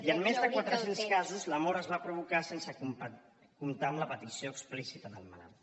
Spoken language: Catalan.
i en més de quatre cents casos la mort es va provocar sense comptar amb la petició explícita del malalt